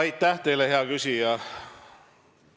Aitäh teile, hea küsija!